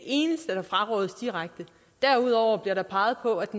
eneste der frarådes direkte derudover bliver der peget på at